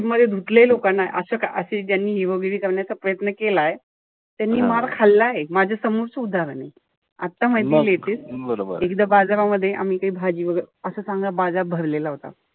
मध्ये धुतलंय लोकांना. असं असं ज्यांनी hero गिरी करण्याचा प्रयत्न केलाय. त्यांनी मर खाल्लाय. माझ्या समोरच उदाहरण ए. आता माहितीये latest एकदा बाजारामध्ये आम्ही काई भाजी वगैरे असा चांगला बाजार भरलेला होता.